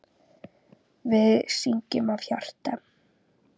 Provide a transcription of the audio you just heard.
Við syngjum af hjarta.